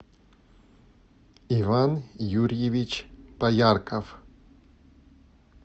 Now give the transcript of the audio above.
иван юрьевич поярков